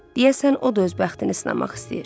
Deyəsən, o da öz bəxtini sınamaq istəyir.